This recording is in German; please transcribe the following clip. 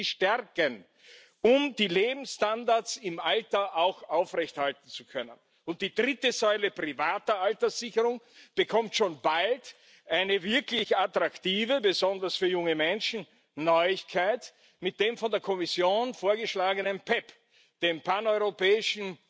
Wir müssen sie stärken, um die Lebensstandards im Alter auch aufrechterhalten zu können. Und die dritte Säule, private Alterssicherung, bekommt schon bald eine besonders für junge Menschen wirklich attraktive Neuigkeit mit dem von der Kommission vorgeschlagenen PEPP, dem Paneuropäischen